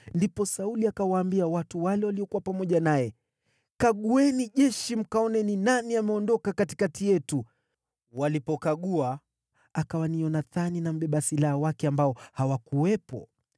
Ndipo Sauli akawaambia watu wale waliokuwa pamoja naye, “Kagueni jeshi mkaone ni nani ameondoka katikati yetu.” Walipokagua, akawa ni Yonathani na mbeba silaha wake ambao hawakuwepo.